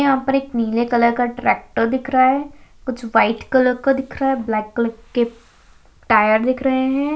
यहां पर एक नीले कलर का ट्रैक्टर दिख रहा है कुछ व्हाइट कलर का दिख रहा है ब्लैक कलर के टायर दिख रहे है।